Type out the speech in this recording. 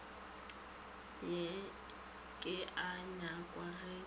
ke a nyakwa ge ke